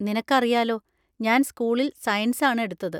നിനക്കറിയാലോ ഞാൻ സ്‌കൂളിൽ സയൻസ് ആണ് എടുത്തത്.